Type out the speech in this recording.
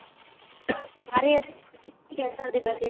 ਸਾਰੇ ਅਸੀਂ ਇਹ ਤਰ੍ਹਾਂ ਨੀ ਕਿਹ ਸਕਦੇ ਬੱਚੇ